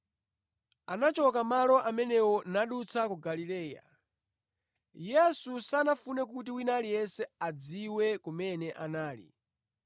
Anachoka malo amenewo nadutsa ku Galileya. Yesu sanafune kuti wina aliyense adziwe kumene anali,